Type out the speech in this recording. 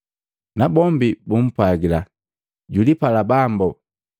Nabombi bumpwagila, “Julipala Bambo.”